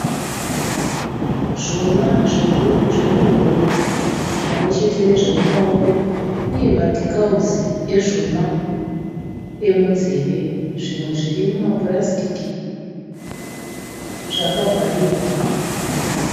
Zvuma zvemuhuro pamwechete nezvemumaoko uye madhikauzi ezvuma emunzeve. Zvimwe zviri mumapurasitiki zvakavharirwa.